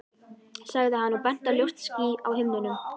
sagði hann og benti á ljóst ský á himninum.